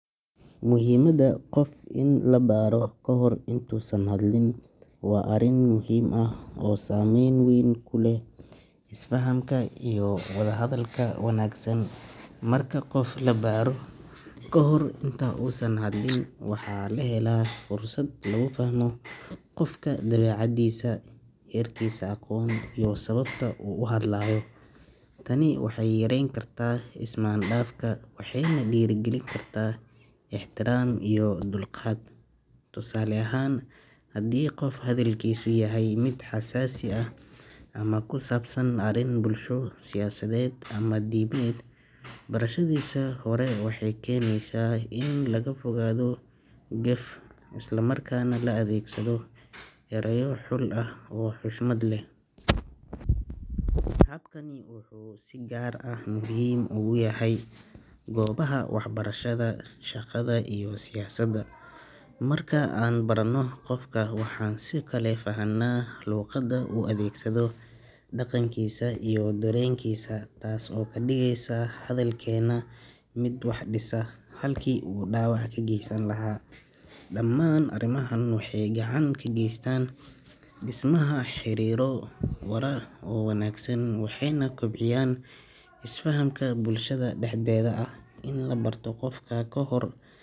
Muhiimadda qof in la baaro kahor intuusan hadlin waa arrin muhiim ah oo saamayn weyn ku leh isfahamka iyo wada hadalada wanaagsan marka qof la baaro ka hor inta uusan hadlin waxaa la helaa fursad lagu fahmo qofka dawecadiisa heerkiisa aqoon iyo sababta uu u hadlayo Tani waxay yareyn kartaa ismaandhaafka, waxayna dhiirigelin kartaa ixtiraan iyo dulqaad tusaale ahan hadii qof hadalkisa yahay miid xasasi aah Ama ku saabsan arrin bulsho siyaasadeed ama diineed barashadiisii hore waxay keenaysaa in laga fogaado geef islamarkaana la adeegsado erayo xul ah oo xushmad leh App kani wuxuu si gaar ah muhiim ugu yahay goobaha Waxbarashada shaqada iyo siyaasadda Marka aan barano qofka waxaan si kale fahanaa luuqada u adeegsado dhaqankiisa iyo dareenkiisa taas oo bandhigaysaa hadalkeena miid wax dhisa halkii uu dhaawac ka geysan lahaa dhammaan arrimahan waxay gacan ka ka geystaan dhismaha xiriiro warar wanaagsan waxayna kobciyaan isfahamka bulshada dahdeda ini la barto qofka ka hor.